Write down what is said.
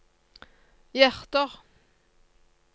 hjerter